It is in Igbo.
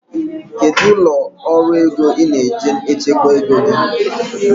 Kedu ụlọ ọrụ ego ị na-eji echekwa ego gị?